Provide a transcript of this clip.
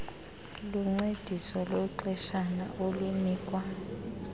luncediso lwexeshana olunikwa